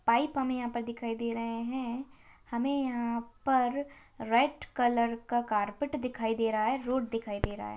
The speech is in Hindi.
पाइप हमें यहां पर दिखाई दे रहे हैं हमें यहां-- पर डेर कलर का कारपेट दिखाई दे रहा है रोड दिखाई दे रहा है।